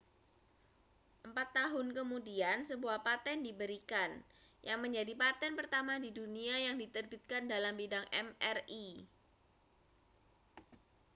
empat tahun kemudian sebuah paten diberikan yang menjadi paten pertama di dunia yang diterbitkan dalam bidang mri